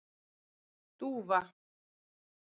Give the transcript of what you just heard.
Dúfa